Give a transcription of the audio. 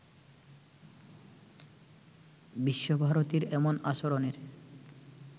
বিশ্বভারতীর এমন আচরণের